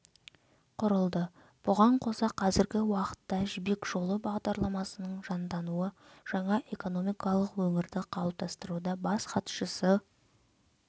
құрылды бұған қоса қазіргі уақытта жібек жолы бағдарламасының жандануы жаңа экономикалық өңірді қалыптастыруда бас хатшысы